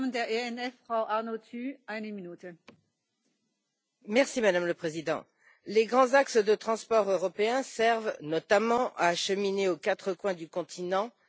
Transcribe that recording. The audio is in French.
Madame la Présidente, les grands axes de transport européens servent notamment à acheminer aux quatre coins du continent les productions obtenues par un dumping social incontestable.